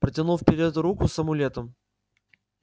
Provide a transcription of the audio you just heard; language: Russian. протянул вперёд руку с амулетом